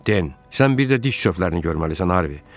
Den, sən bir də diş çöplərini görməlisən Harvi.